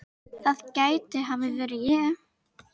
það gæti hafa verið ég